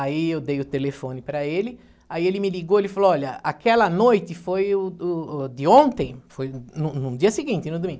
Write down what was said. Aí eu dei o telefone para ele, aí ele me ligou, ele falou, olha, aquela noite foi o o de ontem, foi no no dia seguinte, no domingo.